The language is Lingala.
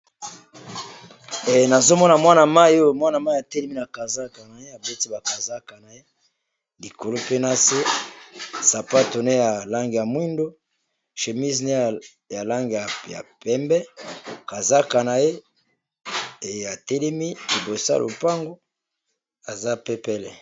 Nazo Mona Mwana mayi atelemi na kazaka likolo pe nase sapato naye ya langi ya moyindo chemise ya langi ya pembe kaza naye atelemi liboso ya lopango aza pepele.